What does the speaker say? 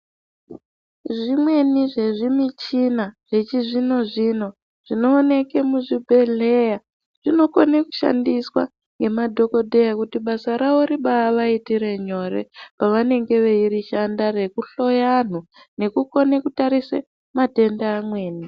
Zvimweni zvezvimichina zvichizvino-zvino zvinooneke muzvibhedhleya zvinokone kushandiswa ngemadhogodheya kuti basa rawo ribaavaitire nyore pavanenge veishanda rekuhloya anhu nekukone kutarise matenda amweni.